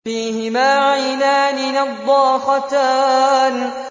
فِيهِمَا عَيْنَانِ نَضَّاخَتَانِ